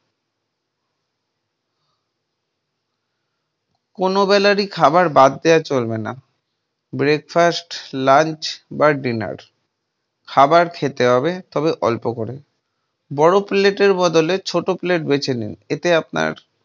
কোনো বেলার ই খাবার বাদ দেওয়া চলবে না। breakfast, lunch বা dinner । খাবার খেতে হবে তবে অল্প করে। বড়ো plate বদলে ছোটো plate বেছে নিন। এতে আপনার